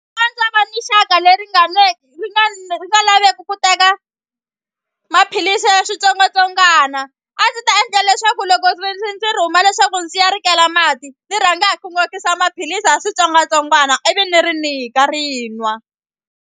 le ri nga ri nga laveki ku teka maphilisi ya switsongwatsongwana a ndzi ta endla leswaku loko ndzi rhuma leswaku ndzi ya rikela mati ndzi rhanga hi n'okisa maphilisi ya switsongwatsongwana ivi ni ri nyika ri yi nwa.